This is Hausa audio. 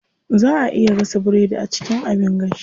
Zaa a iya gasa biredi a cikin abin gashi.